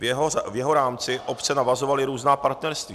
V jeho rámci obce navazovaly různá partnerství.